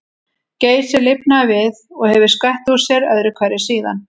Geysir lifnaði við og hefur skvett úr sér öðru hverju síðan.